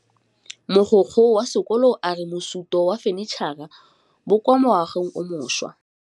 Mogokgo wa sekolo a re bosutô ba fanitšhara bo kwa moagong o mošwa.